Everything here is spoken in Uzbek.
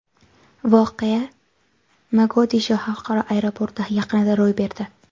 Voqea Mogadisho xalqaro aeroporti yaqinida ro‘y berdi.